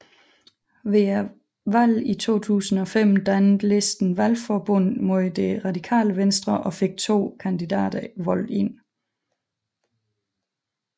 Ved valget 2005 dannede listen valgforbund med Det Radikale Venstre og fik to kandidater valgt ind